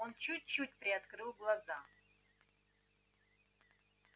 он чуть-чуть приоткрыл глаза